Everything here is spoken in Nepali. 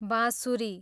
बाँसुरी